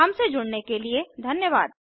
हमसे जुड़ने के लिए धन्यवाद